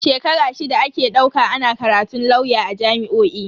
Shekara shida ake dauka ana karatun lauya a jami'o'i.